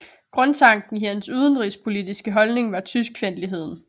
Grundtanken i hans udenrigspolitiske holdning var tyskfjendtligheden